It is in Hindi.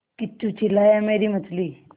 किच्चू चिल्लाया मेरी मछली